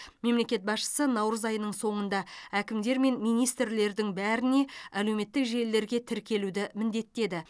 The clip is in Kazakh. мемлекет басшысы наурыз айының соңында әкімдер мен министрлердің бәріне әлеуметтік желілерге тіркелуді міндеттеді